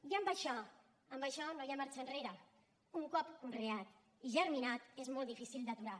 i en això no hi ha marxa enrere un cop conreat i germinat és molt difícil d’aturar